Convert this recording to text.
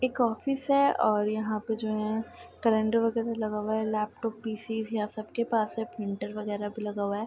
एक ऑफिस है ओर यहाँ पे जो है केलेंडर वगैरा लगा हुआ है लैपटॉप पी.सी. यहाँ सबके पास है प्रिंटर वगैरा भी लगा हुआ है।